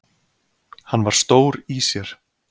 Hann var stór í sér.